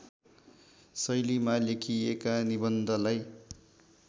शैलीमा लेखिएका निबन्धलाई